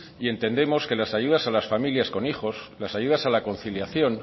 y entendemos que las ayudas a las familias con hijos las ayudas a la conciliación